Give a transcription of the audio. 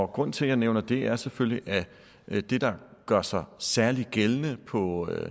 grunden til at jeg nævner det er selvfølgelig at det der gør sig særlig gældende på